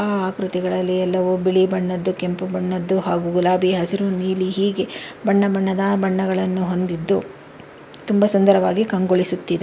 ಆ ಆಕೃತಿಗಳಲ್ಲಿ ಎಲ್ಲವೂ ಬಿಳಿ ಬಣ್ಣದ್ದು ಕೆಂಪು ಬಣ್ಣದ್ದು ಹಾಗೂ ಗುಲಾಬಿ ಹಸಿರು ನೀಲಿ ಹೀಗೆ ಬಣ್ಣ ಬಣ್ಣದ ಬಣ್ಣಗಳನ್ನು ಹೊಂದಿದ್ದು ತುಂಬಾ ಸುಂದರವಾಗಿ ಕಂಗೊಳಿಸುತ್ತಿದೆ.